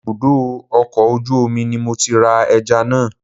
Ibùdó ọkọ̀ ojú omi ni mo ti ra ẹja náà